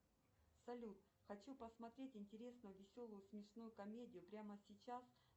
салют хочу посмотреть интересную веселую смешную комедию прямо сейчас